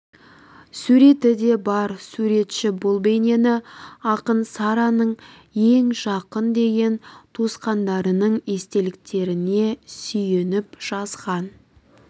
суреті де бар суретші бұл бейнені ақын сараның ең жақын деген туысқандарының естеліктеріне сүйеніп жазған